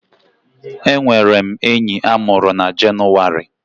Enwere m enyi a mụrụ na Jenụwarị